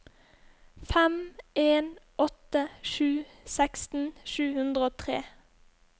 fem en åtte sju seksten sju hundre og tre